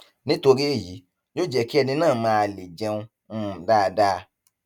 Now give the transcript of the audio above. nítorí èyí yóò jẹ kí ẹni náà má leè jẹun um dáadáa